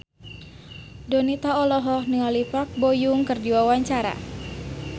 Donita olohok ningali Park Bo Yung keur diwawancara